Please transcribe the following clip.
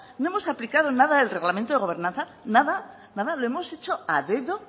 no hemos aplicado nada el reglamento de gobernanza nada lo hemos hecho a dedo